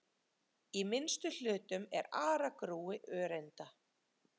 Í minnstu hlutum er aragrúi öreinda.